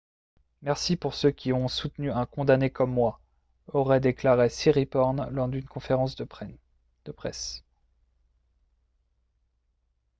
« merci pour ceux qui ont soutenu un condamné comme moi » aurait déclaré siriporn lors d'une conférence de presse